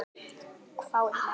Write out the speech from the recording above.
hváði mamma.